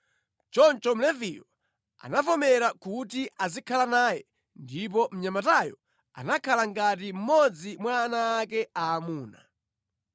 Choncho Mleviyo anavomera kuti azikhala naye, ndipo mnyamatayo anakhala ngati mmodzi mwa ana ake aamuna.